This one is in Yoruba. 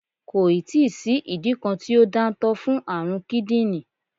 Kò ì tí sí ìdí kan tí ó dáńtọ́ fún àrùn kídìní